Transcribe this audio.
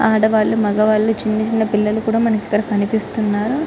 ఆడవాళ్లు మగవాళ్ళు వాలు ఇంకా చిన్న చిన్న పిల్లలు మనకు కనిపిస్తున్నారు